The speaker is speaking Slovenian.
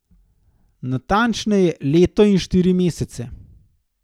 Natančneje leto in štiri mesece.